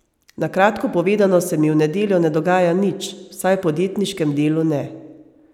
Na kratko povedano se mi v nedeljo ne dogaja nič, vsaj v podjetniškem delu ne.